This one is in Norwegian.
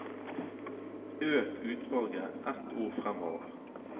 Øk utvalget ett ord framover